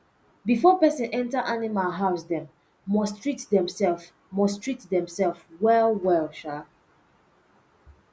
before person enta animal house dem must treat themselves must treat themselves well well um